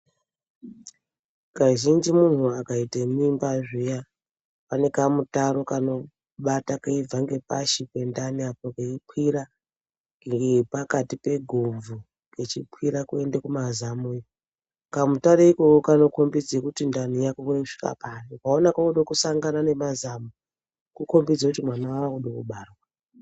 Kazhinji munthu akaite mimba zviya pane kamutaro kanobata keibva ngepashi pendani apa keikwira ngepakati pegumwu kechikwira kuende kumazamo kamutaro ikako anokhombidze kuti ndani yakure kusvika papi ukaona koode kisangana nemazamo kukhombe kut mwana wakude kubarwa.